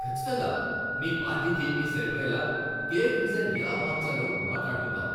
ఖచ్చితంగా! మీ పార్టీ థీమ్కి సరిపోయేలా కేక్ డిజైన్ ఎలా మార్చాలో మాట్లాడుకుందాం.